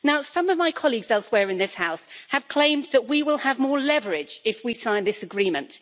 Some of my colleagues elsewhere in this House have claimed that we will have more leverage if we sign this agreement.